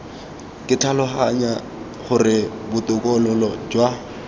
ke tlhaloganya gore botokololo jwa